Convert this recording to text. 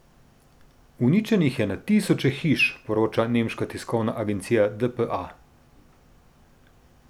Uničenih je na tisoče hiš, poroča nemška tiskovna agencija dpa.